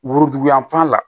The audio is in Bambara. Woroduguyanfan la